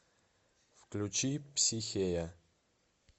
включи психея